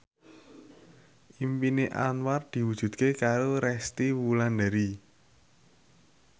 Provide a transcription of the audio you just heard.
impine Anwar diwujudke karo Resty Wulandari